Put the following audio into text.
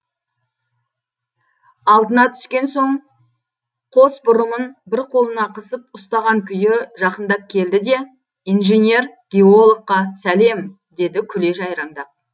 алдына түскен соң қос бұрымын бір қолына қысып ұстаған күйі жақындап келді де инженер геологқа сәлем деді күле жайраңдап